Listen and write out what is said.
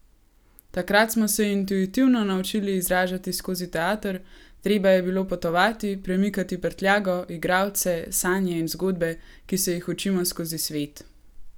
Takrat smo se intuitivno naučili izražati skozi teater, treba je bilo potovati, premikati prtljago, igralce, sanje in zgodbe, ki se jih učimo skozi svet.